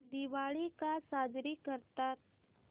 दिवाळी का साजरी करतात